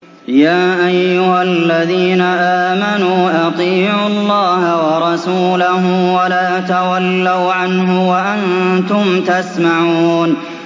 يَا أَيُّهَا الَّذِينَ آمَنُوا أَطِيعُوا اللَّهَ وَرَسُولَهُ وَلَا تَوَلَّوْا عَنْهُ وَأَنتُمْ تَسْمَعُونَ